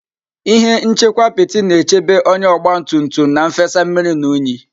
Ihe nchekwa apiti na-echebe onye ogba tum tum na nfesa mmiri na unyi.